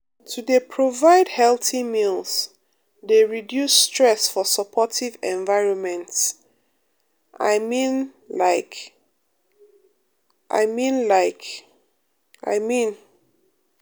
to dey provide healthy meals um dey reduce um stress for supportive environments um i mean like i mean like i mean pause